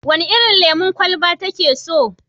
Wene irin lemon kwalaba take so?